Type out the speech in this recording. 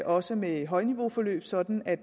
også med højniveauforløb sådan at